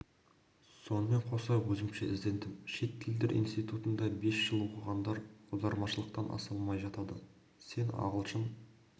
сонымен қоса өзімше іздендім шет тілдер институтында бес жыл оқығандар аудармашылықтан аса алмай жатады сен ағылшын